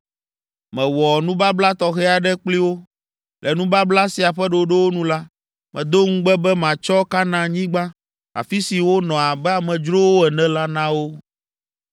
Mewɔ nubabla tɔxɛ aɖe kpli wo. Le nubabla sia ƒe ɖoɖowo nu la, medo ŋugbe be matsɔ Kanaanyigba, afi si wonɔ abe amedzrowo ene la na wo.